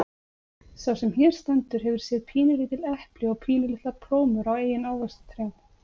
Sá sem hér stendur hefur séð pínulítil epli og pínulitlar plómur á eigin ávaxtatrjám.